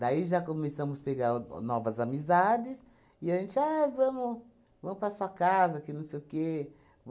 Daí já começamos pegar o novas amizades, e a gente, ah, vamos vamos para a sua casa, que não sei o quê.